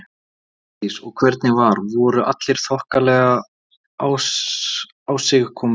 Hjördís: Og hvernig var, voru allir í þokkalegu ásigkomulagi?